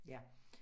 Ja